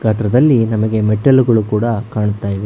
ಚಿತ್ರದಲ್ಲಿ ನಮಗೆ ಮೆಟ್ಟಲುಗಳು ಕೂಡ ಕಾಣ್ತಾಯಿವೆ.